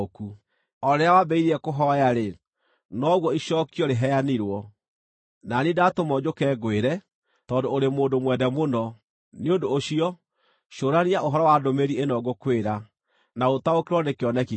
O rĩrĩa wambĩrĩirie kũhooya-rĩ, noguo icookio rĩheanirwo, na niĩ ndatũmwo njũke ngwĩre, tondũ ũrĩ mũndũ mwende mũno. Nĩ ũndũ ũcio, cũrania ũhoro wa ndũmĩrĩri ĩno ngũkwĩra, na ũtaũkĩrwo nĩ kĩoneki kĩu: